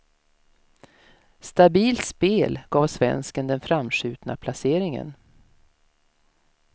Stabilt spel gav svensken den framskjutna placeringen.